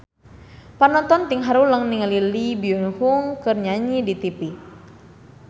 Panonton ting haruleng ningali Lee Byung Hun keur nyanyi di tipi